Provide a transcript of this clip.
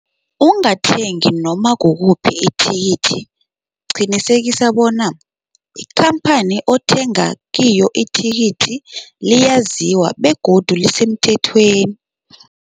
Ungathengi noma kukuphi ithikithi. Qinisekisa bona ikhamphani othenga kiyo ithikithi liyaziwa begodu lisemthethweni.